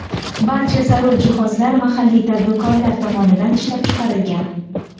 Barcha zarur jihozlar mahalliy tadbirkorlar tomonidan ishlab chiqarilgan.